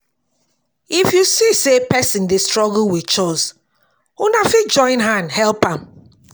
If you see sey person dey struggle with chores, una fit join hand help am